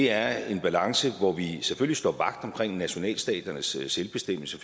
er en balance hvor vi selvfølgelig står vagt omkring nationalstaternes selvbestemmelse